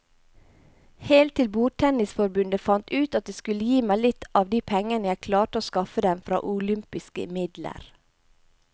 Helt til bordtennisforbundet fant ut at de skulle gi meg litt av de pengene jeg klarte å skaffe dem fra olympiske midler.